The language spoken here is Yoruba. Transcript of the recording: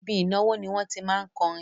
Ibi ìnáwó ni wọ́n tí má ń kọrin